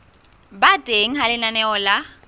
ba teng ha lenaneo la